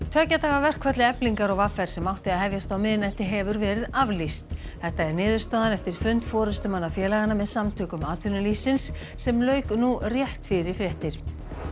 tveggja daga verkfalli Eflingar og v r sem átti að hefjast á miðnætti hefur verið aflýst þetta er niðurstaðan eftir fund forystumanna félaganna með Samtökum atvinnulífsins sem lauk nú rétt fyrir fréttir